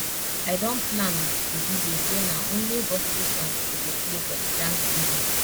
i don plan with di dj say na only gospel song he go play for the thanksgiving